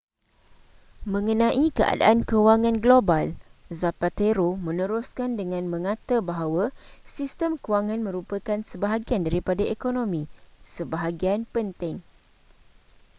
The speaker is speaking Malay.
mengenai keadaan kewangan global zapatero meneruskan dengan mengata bahawa sistem kewangan merupakan sebahagian daripada ekonomi sebahagian penting